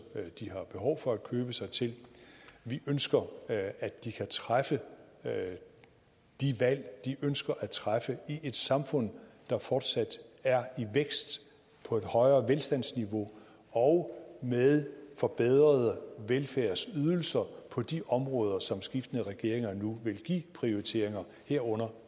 de har behov for at købe sig til vi ønsker at de kan træffe de valg de ønsker at træffe i et samfund der fortsat er i vækst på et højere velstandsniveau og med forbedrede velfærdsydelser på de områder som skiftende regeringer nu vil give prioriteringer herunder